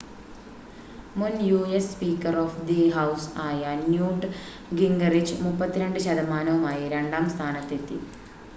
മുൻ US speaker of the house ആയ Newt Gingrich 32 ശതമാനവുമായി രണ്ടാം സ്ഥാനത്തെത്തി